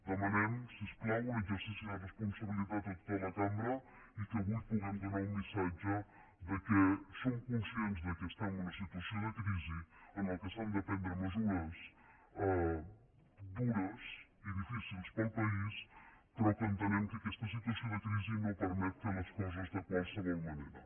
demanem si us plau un exercici de responsabilitat a tota la cambra i que avui puguem donar un missatge que som conscients que estem en una situació de crisi en què s’han de prendre mesures dures i difícils per al país però que entenem que aquesta situació de crisi no permet fer les coses de qualsevol manera